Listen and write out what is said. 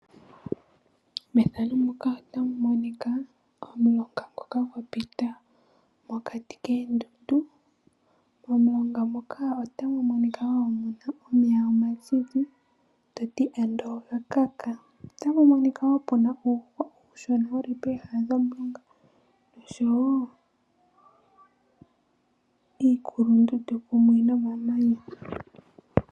Mefano muka otamu monika omulonga ngoka gwa pita mokati koondundu. Momulonga muka otamu monika wo muna omeya omazizi toti ando oga kaka. Otamu monika wo uuhwa uushona wuli pooha dhomulonga. Oshowo iikulundundu kumwe nomamanya.